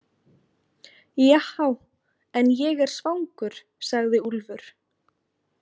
Jahá, en ég er svangur, sagði Úlfur.